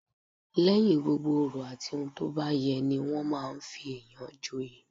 Lẹ́yìn gbogbo òrò àti ohun tó bá yẹ ní ní wọn máa fi èyàn joyè